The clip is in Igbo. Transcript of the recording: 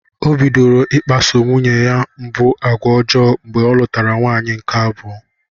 O bidoro i kpaso nwunye mbụ agwa ọjọọ mgbe ọ lụtara nwaanyị nke abụọ.